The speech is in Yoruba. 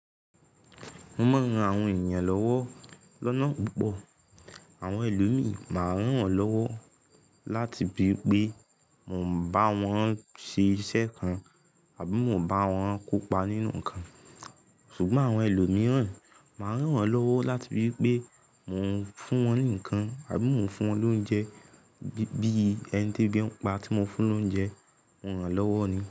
Mo máa ń ran àwọn ènìyàn lọ́wọ́ lọ́nà púpọ̀. Àwọn ẹlòmí máa ń rán wọn lọ́wọ́ láti bíi pé mò ń bá wọn ṣe iṣẹ́ kan àbí mò ń bá wọn kópa nínú ǹkan. Ṣùgbọ́n àwọn ẹlòmíràn máa ń rán wọn lọ́wọ́ láti bíi pé mò ń fún wọn ní ǹkan àbí mò ń fún wọn lóúnjẹ bí i ẹni tebí n pá tí mò ń fún lóúnjẹ, mo rán wọn lọ́wọ́ ni.